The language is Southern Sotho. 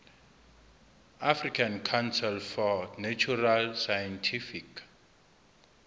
african council for natural scientific